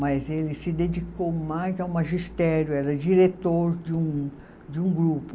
Mas ele se dedicou mais ao magistério, era diretor de um, de um grupo.